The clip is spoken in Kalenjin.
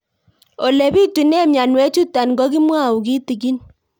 Ole pitune mionwek chutok ko kimwau kitig'ín